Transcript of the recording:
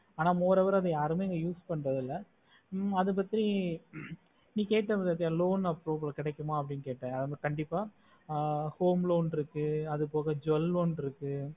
அனா more over அத யாருமே use பண்றது இல்ல ஆஹ் அது பத்தி நீ கேட்ட பதிய loan approval கெடைக்கும்ணு கண்டிப்பா home loan இருக்கு அதுபோக jewel loan இருக்கு